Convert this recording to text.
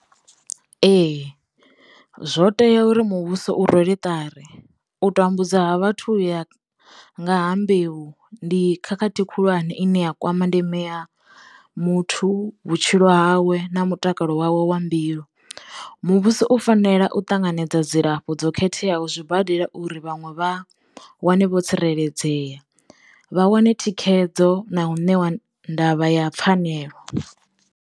Ehe zwo teya uri muvhuso u rwele ṱari u tambudza vhathu ya nga ha mbeu ndi khakhathi khulwane ine ya kwama ndeme ya muthu, vhutshilo hawe na mutakalo wawe wa mbilu. Muvhuso u fanela u ṱanganedza dzilafho dzo khetheaho zwibadela uri vhanwe vha wane vho tsireledzeya, vha wane thikhedzo na u ṋewa ndavha ya pfhanelo.